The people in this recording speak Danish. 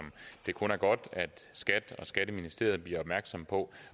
det kun er godt at skat og skatteministeriet bliver opmærksomme på